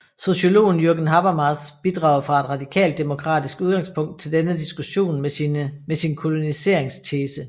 Sociologen Jürgen Habermas bidrager fra et radikalt demokratisk udgangspunkt til denne diskussion med sin koloniseringstese